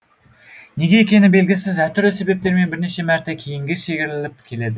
неге екені белгісіз әртүрлі себептермен бірнеше мәрте кейінге шегіріліп келеді